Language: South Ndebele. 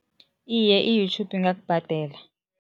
Iye, i-YouTube ingakubhadela.